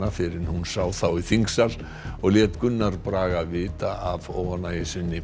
fyrr en hún sá þá í þingsal og lét Gunnar Braga vita af óánægju sinni